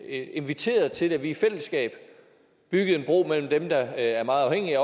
inviterede til at vi i fællesskab byggede en bro mellem dem der er meget afhængige